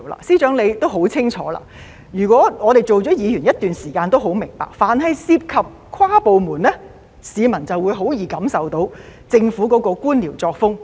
司長，你也很清楚，我們做了議員一段時間都很明白，凡涉及跨部門的政策措施，市民便會很容易感受到政府的官僚作風。